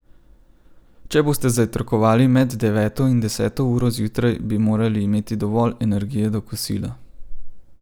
Če boste zajtrkovali med deveto in deseto uro zjutraj, bi morali imeti dovolj energije do kosila.